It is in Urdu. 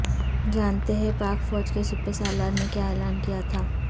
جانتے ہیں پاک فوج کے سپہ سالار نے کیا اعلان کیا تھا